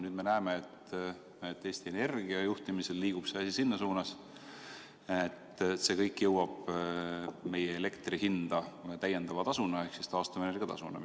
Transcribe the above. Nüüd me näeme, et Eesti Energia juhtimisel liigub see asi sinna suunda, et see kõik jõuab meie elektrihinda lisatasuna ehk taastuvenergia tasuna.